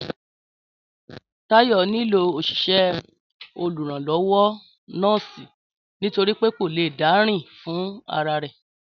Táyò nílò òṣìṣẹ́ oluranlowo nọ́ọ́sì nítorípé kò le dárìn fún ra rẹ̀